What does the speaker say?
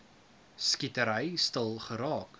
skietery stil geraak